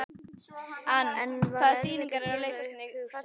En var erfitt að gera upp hug sinn?